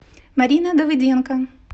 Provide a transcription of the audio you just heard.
марина давыденко